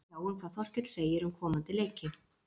Sjáum hvað Þorkell segir um komandi leiki: